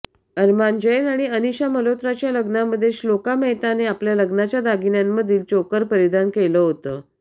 अरमान जैन आणि अनीशा मल्होत्राच्या लग्नामध्ये श्लोका मेहतानं आपल्या लग्नाच्या दागिन्यांमधील चोकर परिधान केलं होतं